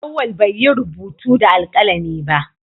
Auwal bai yi rubutu da alkalami ba